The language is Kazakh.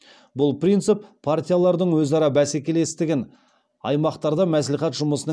бұл принцип партиялардың өзара бәсекелестігін аймақтарда мәслихат жұмысының